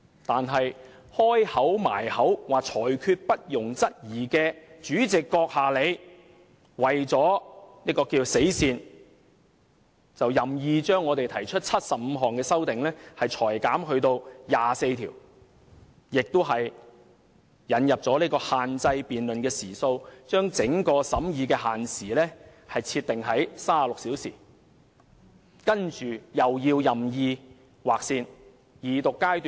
但是，將"裁決不容質疑"掛在唇邊的主席閣下，你為了所謂的死線，便任意把我們提出的75項修正案，裁減至24項，更引入限制辯論時數，把整個審議的限時設定為36小時，然後再任意劃線。